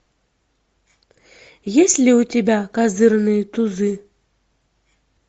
есть ли у тебя козырные тузы